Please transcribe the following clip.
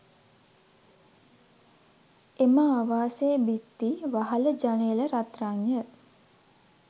එම ආවාසයේ බිත්ති, වහල, ජනේල, රත්රන්ය.